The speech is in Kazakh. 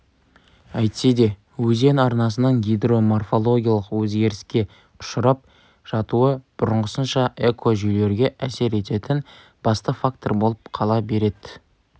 әйтсе де өзен арнасының гидроморфологиялық өзгеріске ұшырап жатуы бұрынғысынша экожүйелерге әсер ететін басты фактор болып қала береді